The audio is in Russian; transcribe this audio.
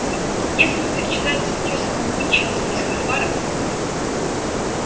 если вы перечитаете статью самого митчелла в записках фара